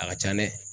A ka ca dɛ